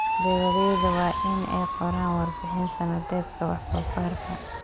Beeralayda waa in ay qoraan warbixin sanadeedka wax soo saarka.